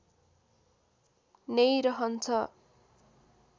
नै रहन्छ